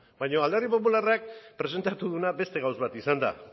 baina alderdi popularrak presentatu duena beste gauza bat izan da